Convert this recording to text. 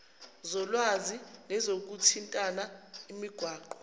zolwazi nezokuthintana imigwaqo